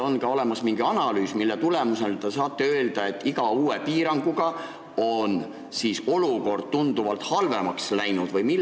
Kas teil on olemas mingi analüüs, mille tulemusel te saate öelda, et iga uue piiranguga on olukord tunduvalt halvemaks läinud?